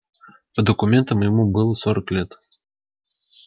по документам ему было сорок лет